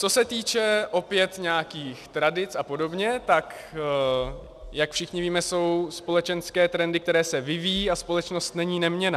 Co se týče opět nějakých tradic a podobně, tak jak všichni víme, jsou společenské trendy, které se vyvíjejí, a společnost není neměnná.